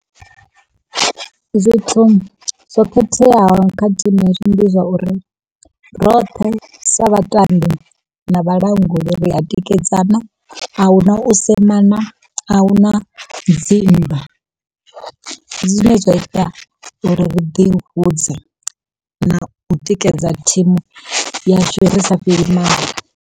Zwithu zwo khetheaho kha thimu yashu ndi zwa uri, roṱhe sa vhatambi na vhalanguli ri a tikedzana. Ahuna u semana ahuna dzi nndwa, ndi zwine zwa ita uri ri ḓihudze na u tikedza thimu yashu ri sa fheli maanḓa.